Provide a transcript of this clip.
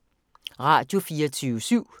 Radio24syv